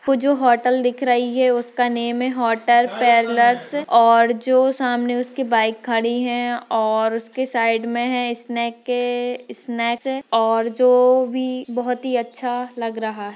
वो जो होटल दिख रही है उसका नेम है होटल पॅरलस और जो सामने उसकी बाइक खड़ी है और उसके साइड मे मे है स्नैक के स्नैच है और जो भी बहोत अच्छा लग रहा है।